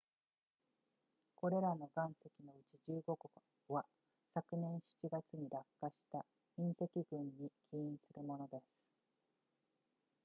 これらの岩石のうち15個は昨年7月に落下した隕石群に起因するものです